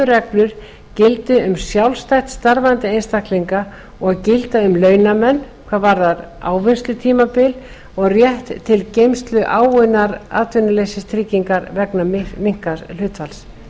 reglur gildi um sjálfstætt starfandi einstaklinga og gilda um launamenn hvað varðar ávinnslutímabil og rétt til geymslu áunninnar atvinnuleysistryggingar vegna minnkaðs starfshlutfalls auk